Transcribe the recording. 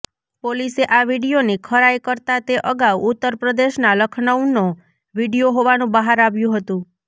પોલીસે આ વિડિયોની ખરાઇ કરતા તે અગાઉ ઉત્તર પ્રદેશના લખનૌનો વિડિયો હોવાનું બહાર આવ્યું હતુ